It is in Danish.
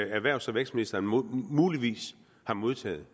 erhvervs og vækstministeren muligvis har modtaget